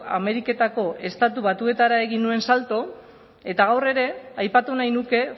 ameriketako estatu batuetara egin nuen salto eta gaur ere aipatu nahi nuke